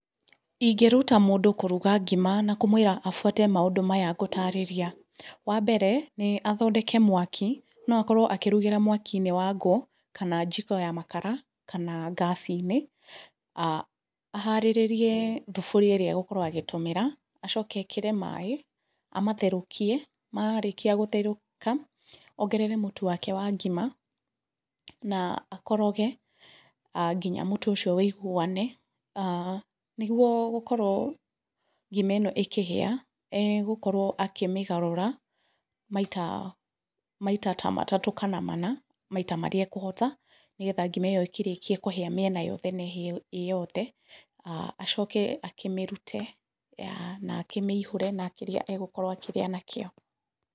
Ingĩruta mũndũ kũruga ngima na kũmwĩra abuate maũndũ maya ngũtarĩria. Wa mbere nĩ athondeke mwaki, no akorwo akĩrugĩra mwaki-inĩ wangũ kana njiko ya makara kana ngaci-inĩ. Aharĩrĩrie thaburia ĩrĩa egukorwo agĩtũmĩra acoke ekĩre maaĩ amatherũkie, marĩkia gũtherũka, ongerere mũtu wake wa ngima na akoroge nginya mũtu ũcio wĩiguane. Nĩguo gũkorwo ngima ĩno ĩkĩhĩa egũkorwo akĩmĩgarũra maita, maita ta matatũ kana mana maita marĩa ekũhota, nĩ getha ngima ĩyo ĩkĩrĩkie kũhĩa mĩena yothe na ĩhĩe ĩyothe, acoke akĩmĩrute na akĩmĩihũre na kĩrĩa egũkorwo akĩrĩa nakĩo.